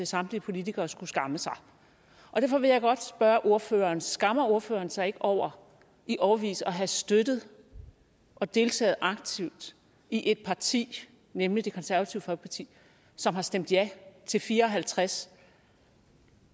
samtlige politikere skulle skamme sig derfor vil jeg godt spørge ordføreren skammer ordføreren sig ikke over i årevis at have støttet og deltaget aktivt i et parti nemlig det konservative folkeparti som har stemt ja til samtlige fire og halvtreds